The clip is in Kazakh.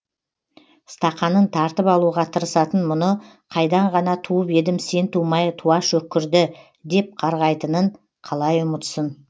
стақанын тартып алуға тырысатын мұны қайдан ғана туып едім сен тумай туа шөккірді деп қарғайтынын қалай ұмытсын